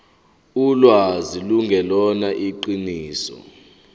ulwazi lungelona iqiniso